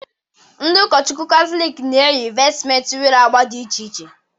Ndi ụkọchukwu Katọlik na-eyi vestmentị nwere agba dị iche iche